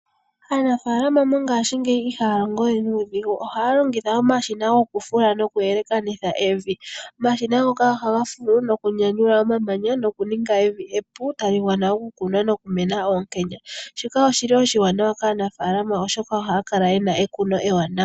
Aanafaalama mo ngaashingeyi ihaa longo we nuudhigu. Ohaa longitha omashina goku fula noku yelekanitha evi. Omashina ngoka oha ga fulu, noku nyanyula omamanya, noku ninga evi epu, tali gwana oku kunwa, noku meneka oonkenya. Shika oshi li oshiwanawa kaanafaalama, oshoka ohaa hala ye na ekuno ewanawa.